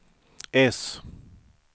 S